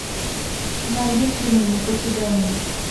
найди фильм не покидай меня